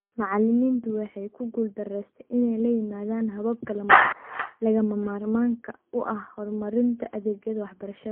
Macallimiintu waxay ku guuldaraysteen inay la yimaadaan hababka lagama maarmaanka u ah horumarinta adeegyada waxbarashada.